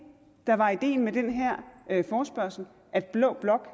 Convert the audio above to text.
der var ideen med den her forespørgsel at blå blok